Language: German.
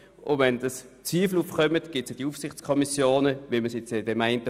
Wenn Zweifel aufkommen, gibt es Aufsichtskommissionen, welche die einzelnen Verträge anschauen.